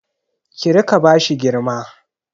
Kí rika bashi girma